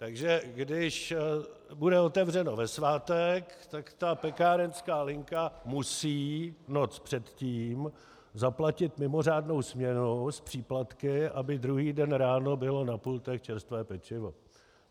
Takže když bude otevřeno ve svátek, tak ta pekárenská linka musí noc předtím zaplatit mimořádnou směnu s příplatky, aby druhý den ráno bylo na pultech čerstvé pečivo.